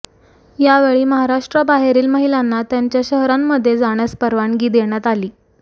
यावेळी महाराष्ट्राबाहेरील महिलांना त्यांच्या शहरांमध्ये जाण्यास परवानगी देण्यात आली